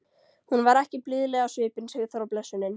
Hún var ekki blíðleg á svipinn, Sigþóra blessunin!